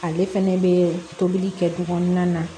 Ale fɛnɛ bɛ tobili kɛ togo na